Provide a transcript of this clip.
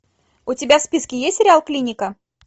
у тебя в списке есть сериал клиника